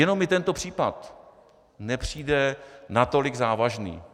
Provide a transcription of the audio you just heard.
Jenom mi tento případ nepřijde natolik závažný.